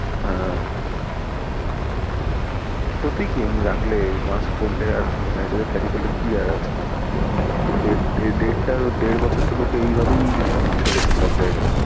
হ্যাঁ ক্ষতি কি রাখলে mask পড়লে আর sanitizer carry করলে, দেড় বছর তো এইভাবেই চলেছে সবার।